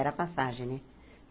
Era passagem, né?